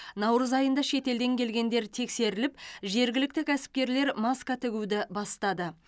наурыз айында шетелден келгендер тексеріліп жергілікті кәсіпкерлер маска тігуді бастады